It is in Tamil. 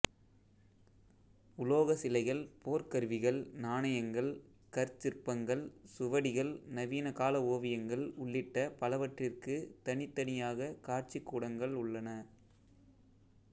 உலோக சிலைகள் போர்க்கருவிகள் நாணயங்கள் கற்சிற்பங்கள் சுவடிகள் நவீன கால ஓவியங்கள் உள்ளிட்ட பலவற்றிக்கு தனித் தனியாகக் காட்சிக்கூடங்கள் உள்ளன